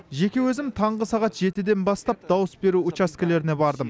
жеке өзім таңғы сағат жетіден бастап дауыс беру учаскелеріне бардым